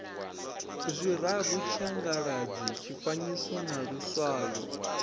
zwiraru tshiangaladzi tshifanyiso na luswayo